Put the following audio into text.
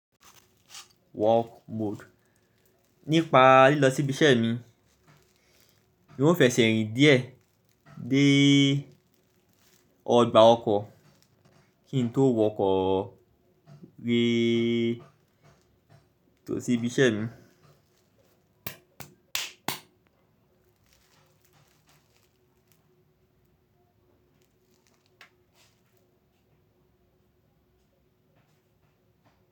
Walk mode. Nípa lílọ sí ibi iṣẹ́ mi, n ọ fẹ̀sẹ̀ rìn díẹ̀ dé ọgbà ọkọ̀ kí n tó wọkọ̀ gbé tó sí ibi iṣẹ́ mi.